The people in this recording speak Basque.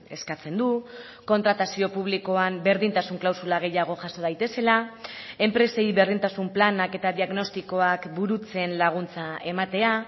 eskatzen du kontratazio publikoan berdintasun klausula gehiago jaso daitezela enpresei berdintasun planak eta diagnostikoak burutzen laguntza ematea